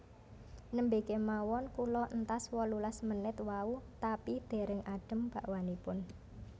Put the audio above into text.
Nembe kemawon kula entas wolulas menit wau tapi dereng adem bakwanipun